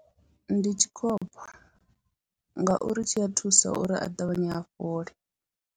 Ndi tshikhopha ngauri tshi a thusa uri a ṱavhanye a fhole.